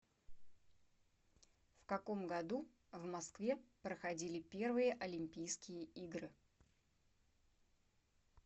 в каком году в москве проходили первые олимпийские игры